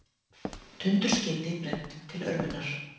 Tundurskeyti brennt til örvunar